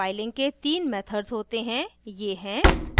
filing के तीन methods होते हैं ये हैं :